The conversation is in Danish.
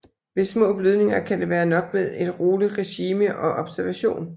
Ved små blødninger kan det være nok med et roligt regime og observation